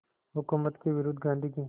हुकूमत के विरुद्ध गांधी की